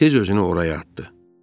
Tez özünü oraya atdı.